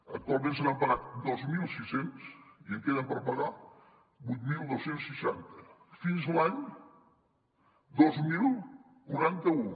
actualment se n’han pagat dos mil sis cents i en queden per pagar vuit mil dos cents i seixanta fins l’any dos mil quaranta u